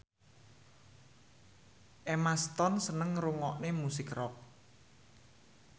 Emma Stone seneng ngrungokne musik rock